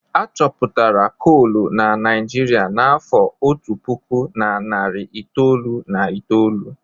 Achọpụtara kolu na Naịjirịa n'afọ otu puku na narị itoolu na itoolu.